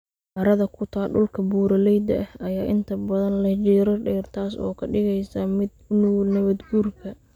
Carrada ku taal dhulka buuraleyda ah ayaa inta badan leh jiirar dheer, taas oo ka dhigaysa mid u nugul nabaad guurka.